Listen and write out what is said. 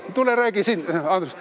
Tule räägi siin!